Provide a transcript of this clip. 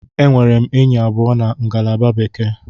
Enwere m enyi abụọ na ngalaba Bekee.